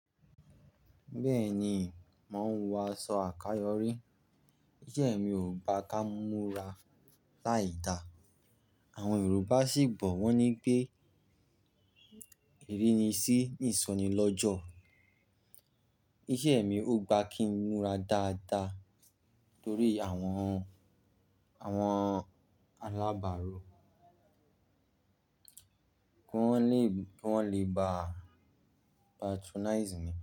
Bẹ́ẹ̀ni, mò ń wọ aṣọ àkayọ̀rí. Isẹ́ mi ò gbá ká múra láì da. Àwọn Yorùbá sì gbọ́ wọ́n ní pé ìrínisí ní ìsọ̀ní lọ́jọ́. Isẹ́ mi ò gbá kí n múra dáadáa torí àwọn, àwọn alábàárò kí wọ́n le, kí wọ́n le bàá patronize mi.